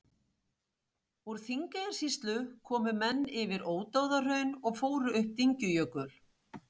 Úr Þingeyjarsýslu komu menn yfir Ódáðahraun og fóru upp Dyngjujökul.